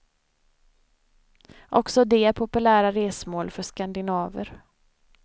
Också de är populära resmål för skandinaver.